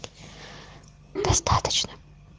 достаточно